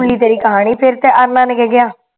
ਸੁਣ ਲਈ ਤੇਰੀ ਕਹਾਣੀ